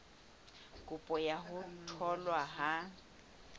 kopo ya ho tholwa ha